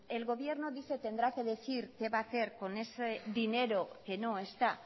el gobierno dice tendrá que decir qué va a hacer con ese dinero que no está